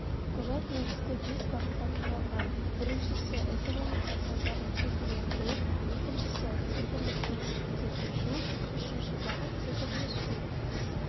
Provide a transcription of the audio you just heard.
құжат негізгі бес бағыттан құралған біріншісі экономика салаларын цифрлендіру екіншісі-цифрлік мемлекетке көшу үшінші бағыт цифрлі жібек